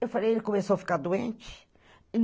Eu falei, ele começou a ficar doente.